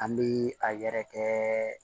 An bɛ a yɛrɛ kɛ